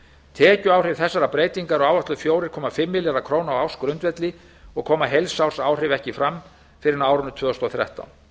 tekjuáhrif þessarar breytingar eru áætluð fjóra komma fimm milljarðar króna á ársgrundvelli og koma heilsársáhrif ekki fram fyrr en á árinu tvö þúsund og þrettán